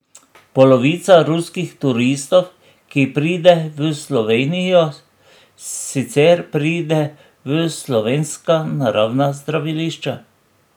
Polovica ruskih turistov, ki pride v Slovenijo, sicer pride v slovenska naravna zdravilišča.